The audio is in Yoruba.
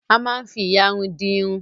Ama ń fí ìyarun fi di irun.